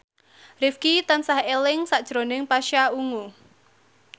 Rifqi tansah eling sakjroning Pasha Ungu